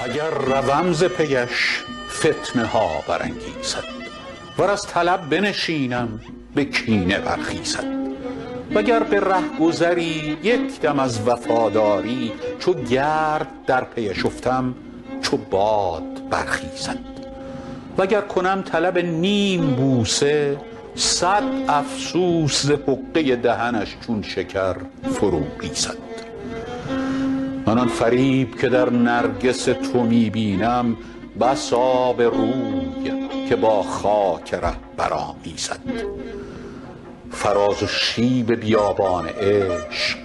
اگر روم ز پی اش فتنه ها برانگیزد ور از طلب بنشینم به کینه برخیزد و گر به رهگذری یک دم از وفاداری چو گرد در پی اش افتم چو باد بگریزد و گر کنم طلب نیم بوسه صد افسوس ز حقه دهنش چون شکر فرو ریزد من آن فریب که در نرگس تو می بینم بس آبروی که با خاک ره برآمیزد فراز و شیب بیابان عشق